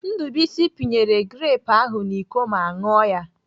Ndubuisi pinyere grepụ ahụ n'Iko ma ṅụọ ya.